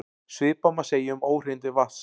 Svipað má segja um óhreinindi vatns.